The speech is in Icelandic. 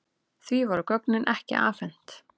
Því voru gögnin ekki afhent.